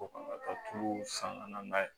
Ko kan ka taa tuuru san ka na n'a ye